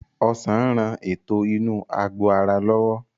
Ọsàn ń rán ètò inú àgbò ara lọ́wọ́